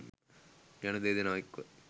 යන දෙදෙනා එක්ව,